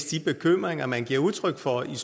de bekymringer man giver udtryk for i